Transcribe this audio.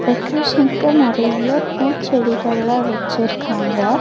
டெக்ரேஷன்க்கு நெறைய பூச்செடிகள்ளா வச்சிருக்காங்க.